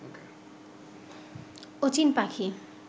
অচিন পাখি